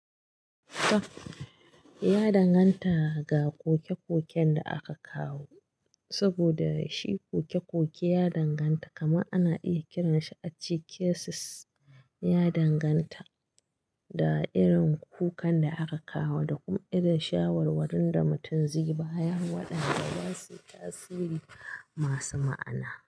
Ya danganta ga koke-koken da aka kawo, saboda shi koke-koke ya danganta, kamar ana iya kiransa a ce cases, ya danganta da irin kukan da aka kawo da kuma irin shawarwarin da mutum zai bayar wa ɗanda za suyi tasiri masu ma'ana.